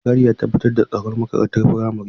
Mai gadi ya tabbatar da tsaron makarantar firamare.